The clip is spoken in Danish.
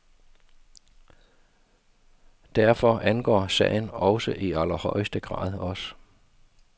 Derfor angår sagen også i allerhøjeste grad os.